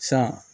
San